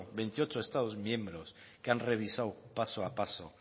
veintiocho estados miembros que han revisado paso a paso